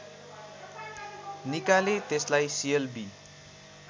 निकाले त्यसलाई सिएलबि